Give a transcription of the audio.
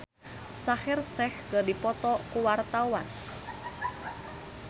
Petra Sihombing jeung Shaheer Sheikh keur dipoto ku wartawan